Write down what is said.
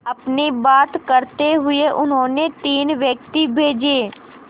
अपनी बात रखते हुए उन्होंने तीन व्यक्ति भेजे